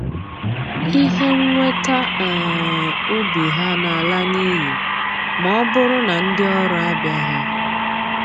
Ihe mnweta um ubi ha na-ala n'iyi ma ọ bụrụ na ndị ọrụ abịaghị